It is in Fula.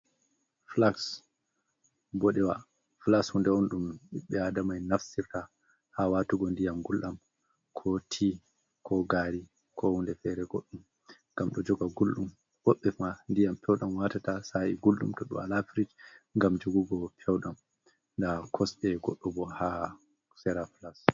Flaks boɗewa, flaks hunde on ɗum ɓiɓbe adama en naftirta ha watugo ndiyam gulɗam, ko ti, ko gari, ko hunde fere goɗɗum. Ngam ɗo joga gulɗum woɓbe fa ndiyam pew ɗam watata sa’i gulɗum to ɓe wala frij ngam jogugo peu ɗam. Nda kosɗe goɗɗo bo ha sera flaks.